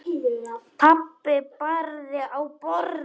Pabbi barði í borðið.